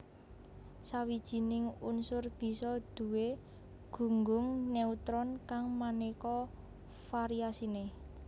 Sawijining unsur bisa duwé gunggung neutron kang manéka variasiné